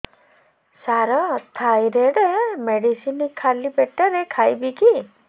ସାର thyroid medicine ଖାଲି ପେଟରେ ଖାଇବି କି